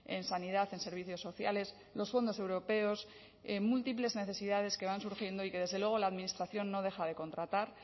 en sanidad en servicios sociales los fondos europeos múltiples necesidades que van surgiendo y que desde luego la administración no deja de contratar